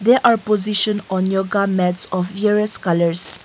there are position on yoga mats of various colours.